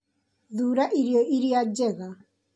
Thuura irio iria njega